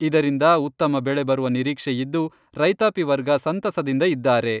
ಇದರಿಂದ ಉತ್ತಮ ಬೆಳೆ ಬರುವ ನಿರೀಕ್ಷೆ ಇದ್ದು, ರೈತಾಪಿ ವರ್ಗ ಸಂತಸದಿಂದ ಇದ್ದಾರೆ.